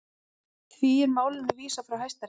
Því er málinu vísað frá Hæstarétti